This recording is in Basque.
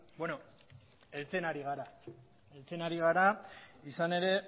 heltzen ari gara izan ere